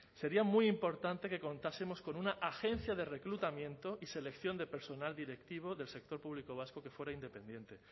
sería muy importante que contásemos con una agencia de reclutamiento y selección de personal directivo del sector público vasco que fuera independiente